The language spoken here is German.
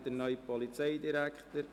Ich erwarte den neuen Polizeidirektor.